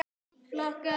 Veit það nokkur maður?